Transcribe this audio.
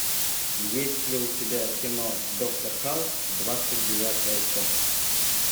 есть ли у тебя кино доктор хаус двадцать девятая часть